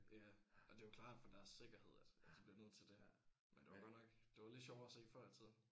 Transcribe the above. Ja og det er jo klart for deres sikkerhed altså at de bliver nødt til det. Men det var godt nok det var lidt sjovere at se før i tiden